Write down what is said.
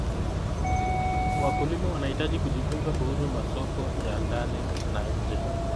Wakulima wanahitaji kujifunza kuhusu masoko ya ndani na nje.